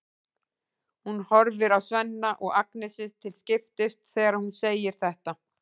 Hún horfir á Svenna og Agnesi til skiptis þegar hún segir þetta.